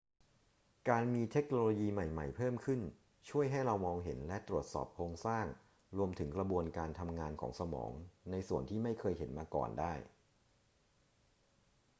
การมีเทคโนโลยีใหม่ ๆ เพิ่มขึ้นช่วยให้เรามองเห็นและตรวจสอบโครงสร้างรวมถึงกระบวนการทำงานของสมองในส่วนที่ไม่เคยเห็นมาก่อนได้